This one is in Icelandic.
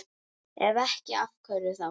Ef ekki, af hverju þá?